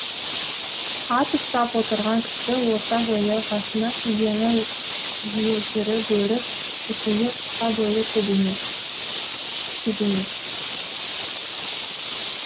ат ұстап отырған кісі орта бойлы басына кигені елтірі бөрік үстінде қысқа бойлы кебенек